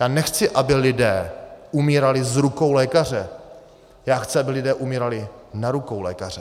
Já nechci, aby lidé umírali z rukou lékaře, já chci, aby lidé umírali na rukou lékaře.